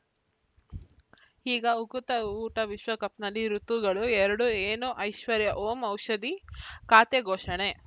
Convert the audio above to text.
ಈಗ ಉಕುತ ಊಟ ವಿಶ್ವಕಪ್‌ನಲ್ಲಿ ಋತುಗಳು ಎರಡು ಏನು ಐಶ್ವರ್ಯಾ ಓಂ ಔಷಧಿ ಖಾತೆ ಘೋಷಣೆ